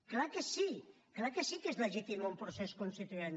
és clar que sí és clar que sí que és legítim un procés constituent